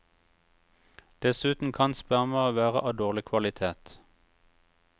Dessuten kan spermaet være av dårlig kvalitet.